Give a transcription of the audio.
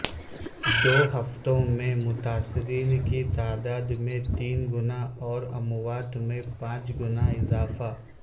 دو ہفتوں میں متاثرین کی تعداد میں تین گنا اور اموات میں پانچ گنا اضافہ